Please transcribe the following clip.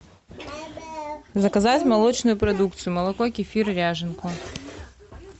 заказать молочную продукцию молоко кефир ряженку